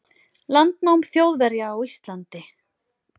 landnám Þjóðverja á Íslandi.